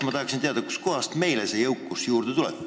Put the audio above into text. Ma tahaksin teada, kust kohast meile see jõukus juurde tuleb.